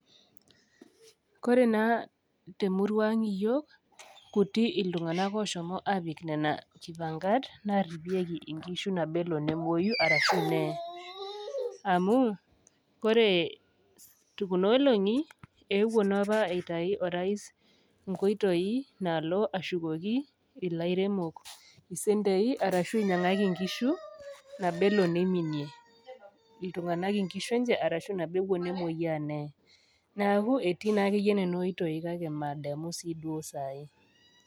Kore naa te emurua aang' iyiok, kuti iltung'ana ooshomo aapik nena kipang'at naaripieki inkishu nabo elo nemwoyu arashu nee. Amu, ore kuna olong'i, eewuo naa opa aitayu orais inkoitoi naalo ashukoki ilairemok isentei arashu einyang'aki inkishu nabo elo neiminie, iltung'ana inkishu enye arashu nabo ewuo nemwoiyaa nee, neaku etii sii duo nena oitoi kake mademu sii duo sai.